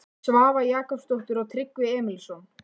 Svava Jakobsdóttir og Tryggvi Emilsson.